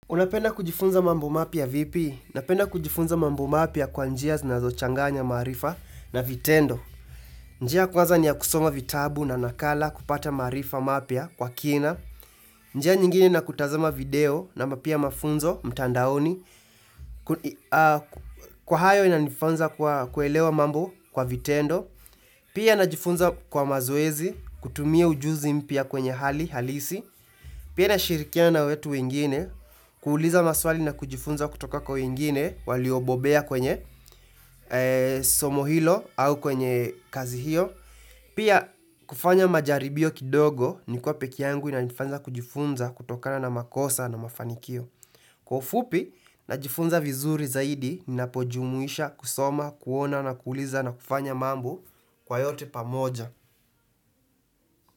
Unapenda kujifunza mambo mapya vipi? Nanapenda kujifunza mambo mapya kwa njia zinazo changanya maarifa na vitendo. Njia kwanza niya kusoma vitabu na nakala kupata maarifa mapya kwa kina. Njia nyingine ni kutazama video na mapia mafunzo mtandaoni. Kwa hayo inanifunza kuelewa mambo kwa vitendo. Pia najifunza kwa mazoezi kutumia ujuzi mpya kwenye hali halisi. Pia nashirikiana na wetu wengine, kuuliza maswali na kujifunza kutoka kwa wengine waliobobea kwenye somo hilo au kwenye kazi hiyo. Pia, kufanya majaribio kidogo nikuwa pekeangu inanifanya kujifunza kutokana makosa na mafanikio. Kwa ufupi najifunza vizuri zaidi ninapojumuisha kusoma, kuona na kuuliza nakufanyaa mambo kwa yote pamoja.